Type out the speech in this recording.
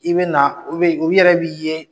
I bɛ na u yɛrɛ b'i ye.